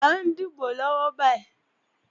À ń dìbò lọ́wọ́ báyì